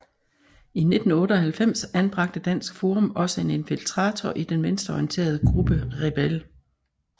I 1998 anbragte Dansk Forum også en infiltrator i den venstreorienterede gruppe Rebel